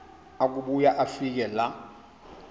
akubuya afike laa